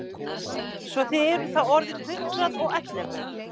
Svo að þið eruð þá orðin hundrað og ellefu!